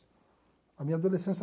A minha adolescência...